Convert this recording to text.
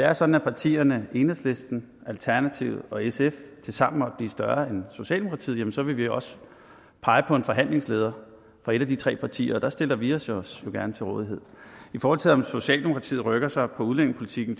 er sådan at partierne enhedslisten alternativet og sf tilsammen måtte blive større end socialdemokratiet så vil vi også pege på en forhandlingsleder fra et af de tre partier og der stiller vi os os gerne til rådighed i forhold til om socialdemokratiet rykker sig på udlændingepolitikken